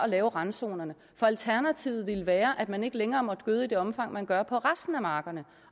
lave randzonerne for alternativet ville være at man ikke længere måtte gøde i det omfang man gør på resten af markerne